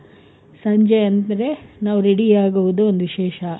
ಸಂಜೆ ಅಂದ್ರೆ ನಾವು ready ಆಗೋದು ಒಂದ್ ವಿಶೇಷ.